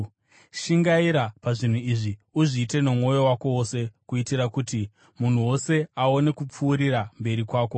Shingaira pazvinhu izvi, uzviite nomwoyo wako wose, kuitira kuti munhu wose aone kupfuurira mberi kwako.